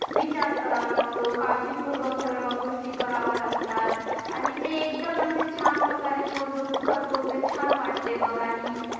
विचार करावा लागतो काळजीपूर्वक सगळ्या गोष्टी कराव्या लागतात आणि ते एकदम असे छान प्रकारे छान तो जो करतो ते छान वाटते बघ आणि